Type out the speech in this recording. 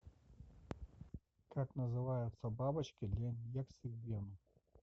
как называются бабочки для инъекций в вену